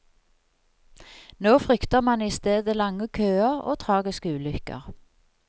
Nå frykter man i stedet lange køer og tragiske ulykker.